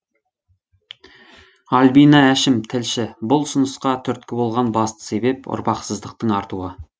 альбина әшім тілші бұл ұсынысқа түрткі болған басты себеп ұрпақсыздықтың артуы